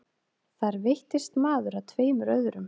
Þar veittist maður að tveimur öðrum